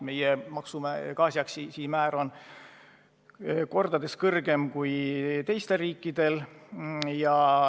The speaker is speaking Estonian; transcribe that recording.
Meie gaasiaktsiisi määr on kordades kõrgem kui teistel riikidel.